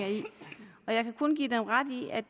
og jeg kan kun give dem ret i at